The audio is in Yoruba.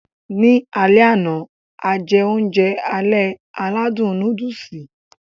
Ní alẹ àná, a jẹ oúnjẹ alẹ́ aládùn núdùùsì.